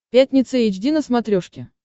пятница эйч ди на смотрешке